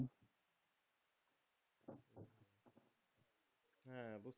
হ্যাঁ বুঝছি